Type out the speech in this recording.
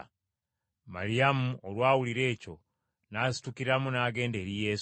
Maliyamu olwawulira ekyo n’asitukiramu n’agenda eri Yesu.